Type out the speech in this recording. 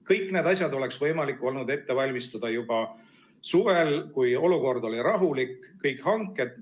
Kõik need asjad oleks võimalik olnud ette valmistada juba suvel, kui olukord oli rahulik, kõik hanked.